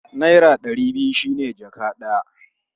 Naira ɗari biyu shi ne jaka ɗaya.